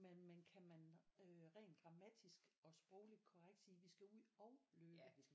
Men man kan man øh rent grammatisk og sprogligt korrekt sige vi skal ud og løbe